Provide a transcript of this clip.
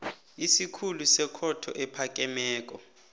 isikhulu sekhotho ephakemeko